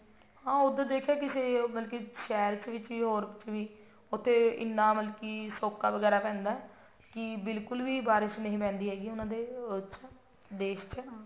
ਹਾਂ ਉੱਦਾਂ ਦੇਖਿਆ ਕਿਸੇ ਮਤਲਬ ਕਿ ਸ਼ਹਿਰ ਵਿੱਚ ਵੀ Europe ਚ ਵੀ ਮਤਲਬ ਉੱਥੇ ਇੰਨਾ ਵਗੈਰਾ ਸੋਕਾ ਵਗੈਰਾ ਪੈਂਦਾ ਕਿ ਬਿਲਕੁਲ ਵੀ ਬਾਰਿਸ਼ ਨੀ ਪੈਂਦੀ ਹੈਗੀ ਉਹਨਾ ਦੇ ਉਹ ਚ ਦੇਸ਼ ਚ